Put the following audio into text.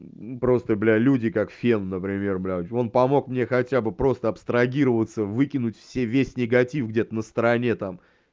просто бля люди как фен например блять он помог мне хотя бы просто абстрагироваться выкинуть все весь негатив где-то на стороне там